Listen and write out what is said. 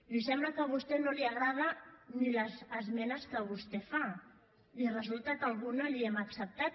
i sembla que a vostè no li agraden ni les esmenes que vostè fa i resulta que alguna la hi hem acceptat